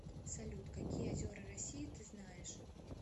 салют какие озера россии ты знаешь